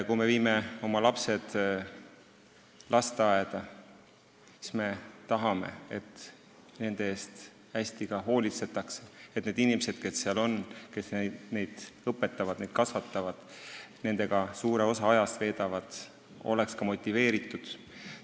Kui me viime lapsed lasteaeda, siis me tahame, et nende eest hästi hoolitsetaks, et need inimesed, kes seal töötavad, meie lapsi õpetavad ja kasvatavad ning suure osa ajast nendega veedavad, oleksid motiveeritud.